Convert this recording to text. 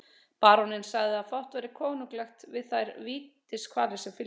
Baróninn sagði að fátt væri konunglegt við þær vítiskvalir sem fylgdu.